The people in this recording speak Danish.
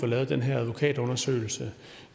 lavet den her advokatundersøgelse